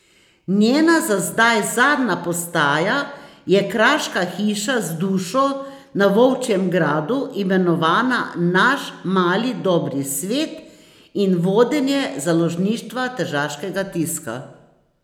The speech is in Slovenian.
Njena za zdaj zadnja postaja je kraška hiša z dušo na Volčjem Gradu, imenovana Naš mali dobri svet, in vodenje Založništva tržaškega tiska.